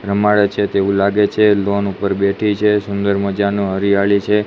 રમાડે છે તેવું લાગે છે લોન ઉપર બેઠી છે સુંદર મજાનુ હરિયાળી છે.